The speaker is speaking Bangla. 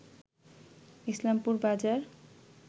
ইসলামপুর বাজার